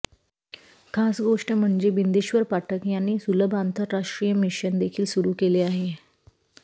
खास गोष्ट म्हणजे बिंदेश्वर पाठक यांनी सुलभ आंतरराष्ट्रीय मिशन देखील सुरू केले आहे